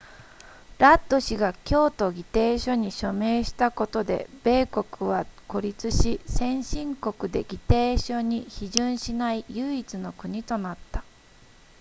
ラッド氏が京都議定書に署名したことで米国は孤立し先進国で議定書に批准しない唯一の国となった